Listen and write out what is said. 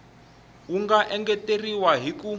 wu nga engeteriwa hi ku